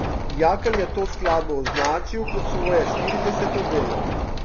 Jakl je to skladbo označil kot svoje štirideseto delo.